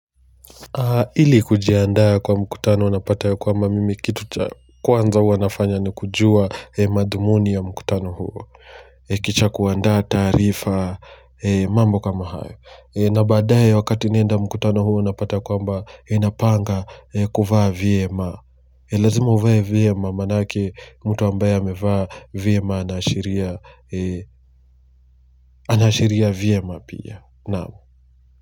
Ili kujiandaa kwa mkutano unapata ya kwamba mimi kitu kwanza hua nafanya ni kujua mathumuni ya mkutano huo kisha kuandaa taarifa mambo kama hayo na baadaye wakati naenda mkutano huo napata kwamba napanga kuvaa vyema. Lazima uvae vyema maanake mtu ambaye amevaa vyema anaashiria anaashiria vyema pia naam.